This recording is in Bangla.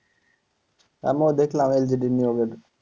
আমিও দেখলাম LGD নিয়োগের।